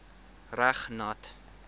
reg nat